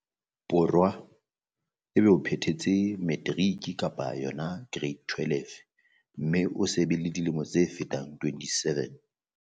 Borwa, o be o phethetse materiki-kereiti ya 12 mme o se be le dilemo tse fetang 27.